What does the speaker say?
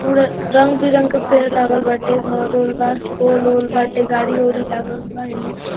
पूरा रंग-बिरंग के पेड़ लागल बाटे घर-उर बा पोल उल बाटे गाड़ी-उड़ी लागल बा इने।